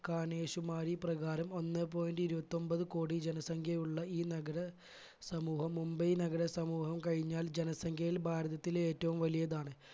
കാണേശുമാരി പ്രകാരം ഒന്നേ point ഇരുപത്തൊൻപത് കോടി ജനസംഖ്യയുള്ള ഈ നഗര സമൂഹം മുംബൈ നഗര സമൂഹം കഴിഞ്ഞാൽ ജനസംഖ്യയിൽ ഭാരതത്തിലെ ഏറ്റവും വലിയതാണ്